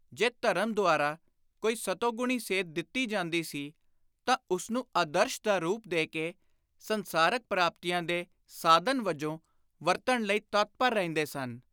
ਜੇ ਧਰਮ ਦੁਆਰਾ ਕੋਈ ਸਤੋਗੁਣੀ ਸੇਧ ਦਿੱਤੀ ਜਾਂਦੀ ਸੀ ਤਾਂ ਉਸਨੂੰ ਆਦਰਸ਼ ਦਾ ਰੁਪ ਦੇ ਕੇ ਸੰਸਾਰਕ ਪ੍ਰਾਪਤੀਆਂ ਦੇ ਸਾਧਨ ਵਜੋਂ ਵਰਤਣ ਲਈ ਤਤਪਰ ਰਹਿੰਦੇ ਸਨ।